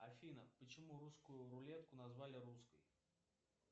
афина почему русскую рулетку назвали русской